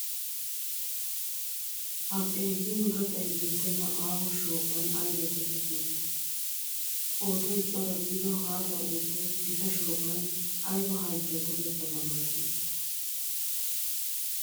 Ha xeellin gaxay beettenna aaho shooqan aybee toketti uttiday? Qooday cora gidido haaxa uuttay gita shooqan ayba halchchuwawu tokettaba malatii?